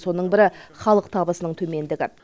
соның бірі халық табысының төмендігі